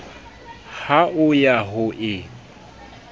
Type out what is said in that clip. ha o ya ho e